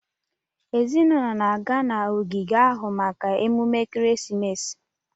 Ezinụlọ na-aga n'ogige ahụ maka emume ekeresimesi.